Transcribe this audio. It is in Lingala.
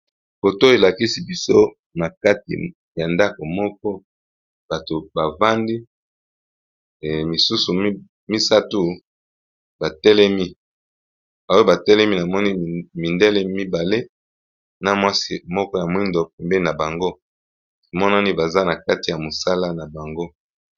Foto elakisi biso na kati ya ndako moko bato ba vandi misusu misato ba telemi oyo ba telemi na moni mindele mibale na mwasi moko ya mwindo pembeni na bango emonani baza na kati ya mosala na bango.